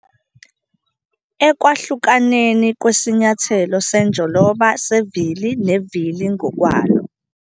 Ekwahlukaneni kwesinyathelo senjoloba sevili nevili ngokwalo.